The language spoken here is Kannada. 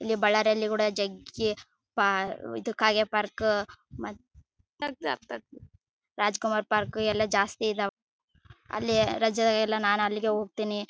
ಇಲ್ಲಿ ಬಳ್ಳಾರಿಯಲ್ಲಿ ಕೂಡ ಜಗ್ಗಿ ಪಾ ಇದು ಕಾಗೆ ಪಾರ್ಕ್ ಮ ರಾಜಕುಮಾರ ಪಾರ್ಕ್ ಎಲ್ಲಾ ಜಾಸ್ತಿ ಇದವೆ ಅಲ್ಲಿ ರಜೆಯೆಲ್ಲಾ ನಾನ್ ಅಲ್ಲಿಗೆ ಹೋಗತ್ತೀನಿ.